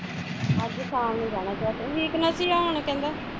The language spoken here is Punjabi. ਅੱਜ ਸ਼ਾਮ ਨੂੰ ਜਾਣਾ check ਕਰਾਣ weakness ਈ ਆ ਕਹਿੰਦਾ